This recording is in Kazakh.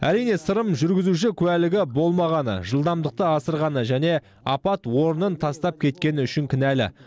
әрине сырым жүргізуші куәлігі болмағаны жылдамдықты асырғаны және апат орнын тастап кеткені үшін кінәлі